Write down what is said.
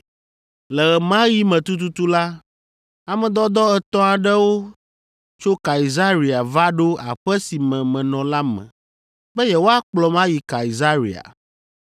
Le ɣe ma ɣi me tututu la, ame dɔdɔ etɔ̃ aɖewo tso Kaesarea va ɖo aƒe si me menɔ la me be yewoakplɔm ayi Kaesarea.